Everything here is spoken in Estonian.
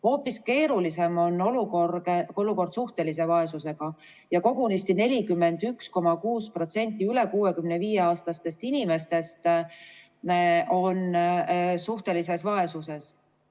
Hoopis keerulisem on olukord suhtelise vaesusega, kogunisti 41,6% üle 65-aastastest inimestest on suhtelises vaesuses.